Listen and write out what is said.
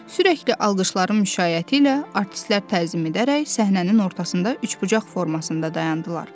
Sürətli alqışların müşayiəti ilə artistlər təzimi edərək səhnənin ortasında üçbucaq formasında dayandılar.